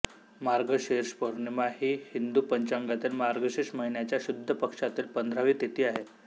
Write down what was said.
मार्गशीर्ष पौर्णिमा ही हिंदू पंचांगातील मार्गशीर्ष महिन्याच्या शुद्ध पक्षातील पंधरावी तिथी आहे